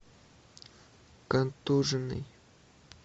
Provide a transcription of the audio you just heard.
контуженный